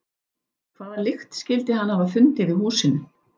Hvaða lykt skyldi hann hafa fundið í húsinu?